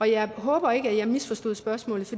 jeg håber ikke at jeg misforstod spørgsmålet